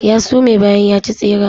Ya sume bayan ya ci tseren.